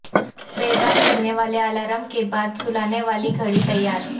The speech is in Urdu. بیدار کرنیوالے الارم کے بعد سلانے والی گھڑی تیار